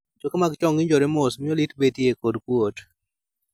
Choke mag chong ng'injore mos miyo lit betie kod kuot